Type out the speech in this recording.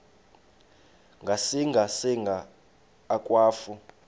ngasinga singa akwafu